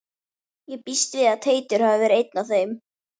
Ég býst við að Teitur hafi verið einn af þeim.